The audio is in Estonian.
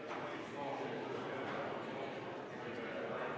Tere hommikust, head kolleegid!